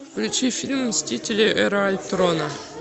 включи фильм мстители эра альтрона